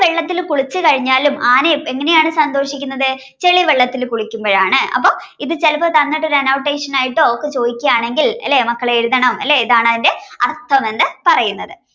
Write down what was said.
വെള്ളത്തിൽ കുളിച്ചു കഴിഞ്ഞാലും ആന എങ്ങനെയാണ് സന്തോഷിക്കുന്നത് ചെളി വെള്ളത്തിൽ കുളിക്കുമ്പോഴാണ്. അപ്പൊ ഇത് തന്നിട്ട് ചെലപ്പോ annotation ആയിട്ടോ ഒക്കെ ചോദിക്കുകയാണെങ്കിൽ അല്ലെ മക്കളെ എഴുതണം അല്ലെ ഇതാണതിന്റെ അർത്ഥമെന്ന് പറയുന്നത്.